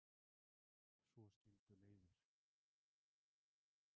Svo skildu leiðir.